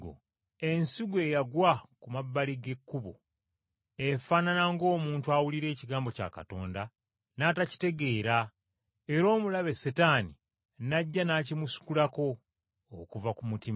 Ensigo eyagwa ku mabbali g’ekkubo efaanana ng’omuntu awulira ekigambo kya Katonda n’atakitegeera era omulabe Setaani n’ajja n’akimusikulako okuva ku mutima.